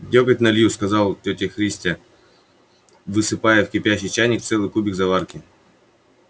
дёготь налью сказал тётя христя высыпая в кипящий чайник целый кубик заварки